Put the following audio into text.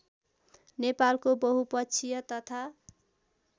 नेपालको बहुपक्षीय तथा